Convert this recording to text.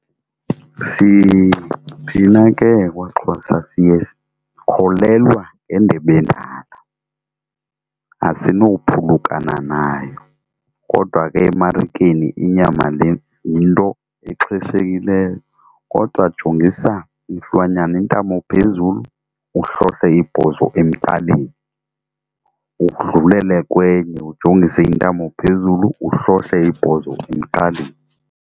Thina ke kwaXhosa siye sikholelwa ngendebe endala asinowuphulukana nayo. Kodwa ke emarikeni inyama le yinto exheshekileyo kodwa jongisa isilwanyana intamo phezulu uhlohle ibhozo emqaleni udlulele kwenye ujongise intamo phezulu uhlole ibhozo emqaleni.